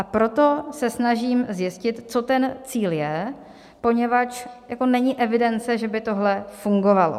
A proto se snažím zjistit, co ten cíl je, poněvadž není evidence, že by tohle fungovalo.